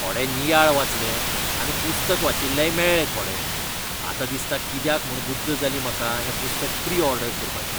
थोडे नियाळ वाचले आनी पुस्तक वाचिल्लेय मेळ्ळे थोडे. आतां दिसता कित्याक म्हूण बुद्द जाली म्हाका हें पुस्तक प्री ऑर्डर करपाची!